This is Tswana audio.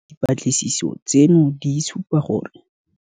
Dipatlisiso tseno di supa seo re se itseng ka rona.